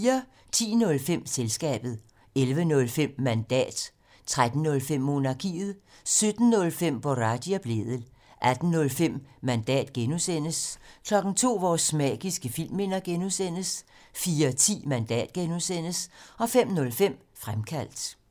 10:05: Selskabet 11:05: Mandat 13:05: Monarkiet 17:05: Boraghi og Blædel 18:05: Mandat (G) 02:00: Vores magiske filmminder (G) 04:10: Mandat (G) 05:05: Fremkaldt